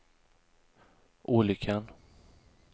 olyckan